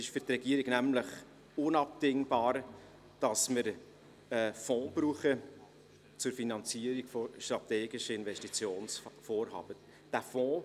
Es ist für die Regierung unabdingbar, dass wir einen Fonds zur Finanzierung strategischer Investitionsvorhaben besitzen.